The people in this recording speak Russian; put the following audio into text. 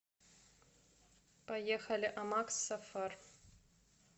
поехали амакс сафар